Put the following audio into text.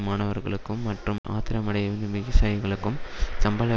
மாணவர்களுக்கும் மற்றும் ஆத்திரமடையும் விகிசாயிகளுக்கும் சம்பள